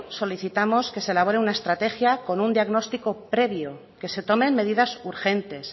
solicitamos que se elabore una estrategia con un diagnóstico previo que se tomen medidas urgentes